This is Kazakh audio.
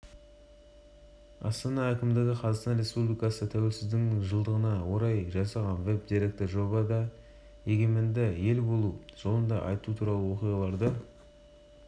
қатарына мемлекет бойынша оқуды үздік бітіргендер алынады сонымен қатар барлық ұстаздар ұлттық білім институтында біліктіліктерін